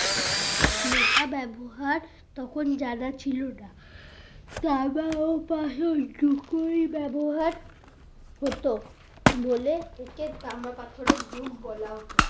লোহা ব্যবহার তখন জানা ছিল না তামা ও পাথর দুটুই ব্যবহার হতো বলে একে তামা পাথরের যুগ বলা হতো